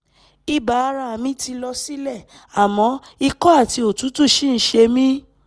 ibà ara mi ti lọ sílẹ̀ àmọ́ ikọ́ àti òtútù ṣì ń ṣe mí